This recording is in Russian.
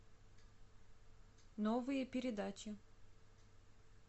новые передачи